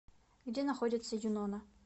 где находится юнона